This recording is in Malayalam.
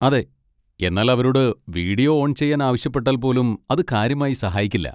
അതെ, എന്നാൽ അവരോട് വീഡിയോ ഓൺ ചെയ്യാൻ ആവശ്യപ്പെട്ടാൽപോലും അത് കാര്യമായി സഹായിക്കില്ല.